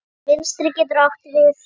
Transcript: Vinstri getur átt við